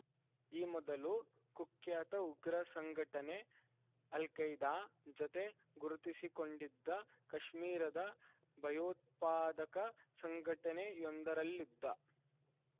ಈ ಮೊದಲು ಕುಖ್ಯಾತ ಉಗ್ರ ಸಂಘಟನೆ ಅಲ್‌ಖೈದಾ ಜತೆ ಗುರುತಿಸಿಕೊಂಡಿದ್ದ ಕಾಶ್ಮೀರದ ಭಯೋತ್ಪಾದಕ ಸಂಘಟನೆಯೊಂದರಲ್ಲಿದ್ದ